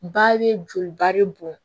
Ba bɛ joli ba de bɔn